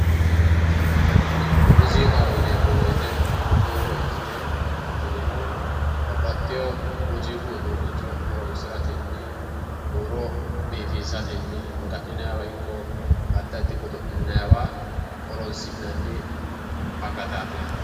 Muuziiqaho yineemmo woyte huuro ikkite tinino babbaxxiteyo muuziiqu uduunnicho horonsiratenni huuro biifisatenni maga'ninaywa ikko addi addi godo'linaywa horonsi'nanni akataati yaate